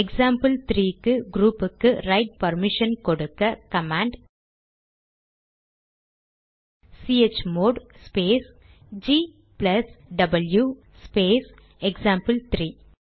எக்சாம்பிள்3 க்கு க்ரூப்புக்கு write permission கொடுக்க command chmod space g plus டபிள்யு ஸ்பேஸ் எக்சாம்பிள்3